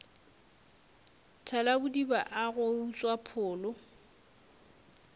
thalabodiba a go utswa pholo